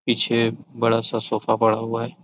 पीछे बड़ा-सा सोफा पड़ा हुआ हैं।